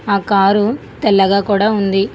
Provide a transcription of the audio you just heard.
ఆ కారు తెల్లగా కూడా ఉంది.